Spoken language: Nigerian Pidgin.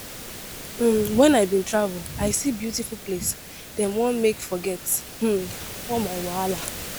um Wen I bin travel, I see beautiful place dem wan make forget um all my wahala